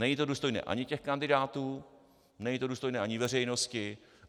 Není to důstojné ani těch kandidátů, není to důstojné ani veřejnosti.